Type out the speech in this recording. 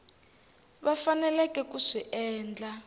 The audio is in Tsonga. va faneleke ku swi endla